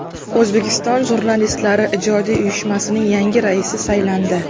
O‘zbekiston Jurnalistlari ijodiy uyushmasining yangi raisi saylandi.